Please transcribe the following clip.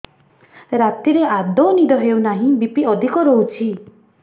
ରାତିରେ ଆଦୌ ନିଦ ହେଉ ନାହିଁ ବି.ପି ଅଧିକ ରହୁଛି